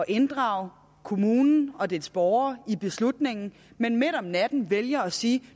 inddrage kommunen og dens borgere i beslutningen men midt om natten vælger at sige